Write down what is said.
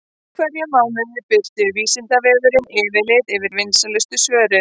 Í hverjum mánuði birtir Vísindavefurinn yfirlit yfir vinsælustu svörin.